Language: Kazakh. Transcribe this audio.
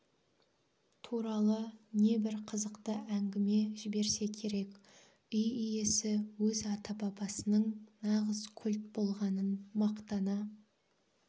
туралы небір қызықты әңгіме жіберсе керек үй иесі өз ата-бабасының нағыз кольт болғанын мақтана